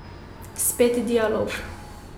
Spet dialog.